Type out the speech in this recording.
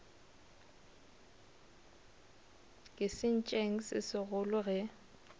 ke sentšeng se segolo ge